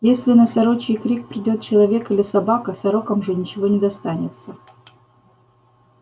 если на сорочий крик придёт человек или собака сорокам же ничего не достанется